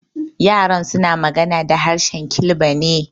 Yaran suna magana da harshen Kilba ne.